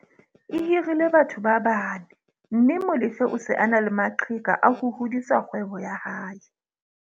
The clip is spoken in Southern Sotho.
Ehirile batho ba bane mme Molefe o se a na le maqheka a ho hodisa kgwebo ya hae.